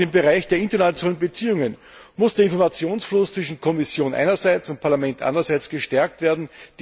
Auch im Bereich der internationalen Beziehungen muss der Informationsfluss zwischen Kommission einerseits und Parlament andererseits gestärkt werden.